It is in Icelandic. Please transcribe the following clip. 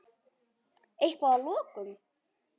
Eitthvað að lokum?